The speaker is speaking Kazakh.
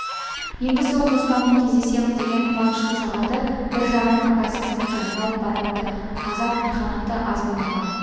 енді сол қоспанмен кездесемін деген қуанышты сағаты бір жағынан ыңғайсыз сәтке айналып баратты азап-мехнаты аз болмаған